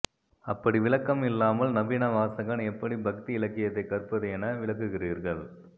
அப்படி விலக்கம் இல்லாமல் நவீன வாசகன் எப்படி பக்தி இலக்கியத்தைக் கற்பது என விளக்குகிறீர்கள்